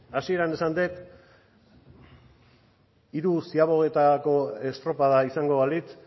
hasieran esan dut hiru ziabogetako estropada izango balitz